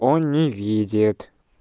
он не видит